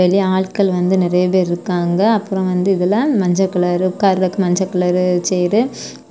வெளிய ஆட்கள் வந்து நறைய பெர் இருக்காங்க அப்புரொ வந்து இதுல மஞ்ச கலரு உட்காரதுக்கு மஞ்ச கலரு சேரு